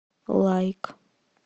лайк